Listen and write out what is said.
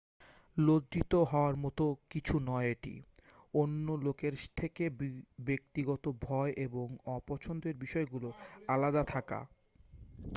লজ্জিত হওয়ার মতো কিছু নয় এটি অন্য লোকের থেকে ব্যক্তিগত ভয় এবং অপছন্দের বিষয়গুলো আলাদা থাকা